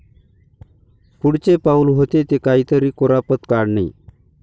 पुढचे पाउल होते ते काहीतरी कुरापत काढणे.